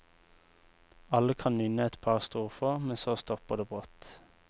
Alle kan nynne et par strofer, men så stopper det brått.